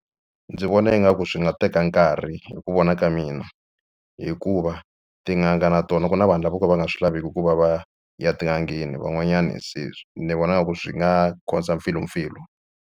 Ndzi vona ingaku swi nga teka nkarhi hi ku vona ka mina hikuva tin'anga na tona ku na vanhu lava vo ka va nga swi laveki ku va va ya tin'angeni van'wanyani se ni vona nga ku swi nga cause-a mpfilumpfilu.